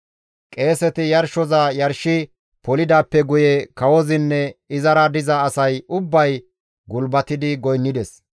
Qeeseti yarshoza yarshi polidaappe guye kawozinne izara diza asay ubbay gulbatidi goynnides.